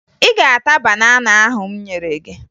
Ị ga-ata banana ahụ m nyere gị!